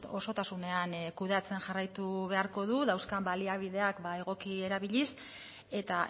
osotasunean kudeatzen jarraitu beharko du dauzkan baliabideak ba egoki erabiliz eta